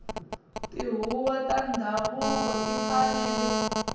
tihuvo ta ndhavuko ti fanele